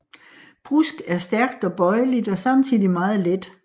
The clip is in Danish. Brusk er stærkt og bøjeligt og samtidig meget let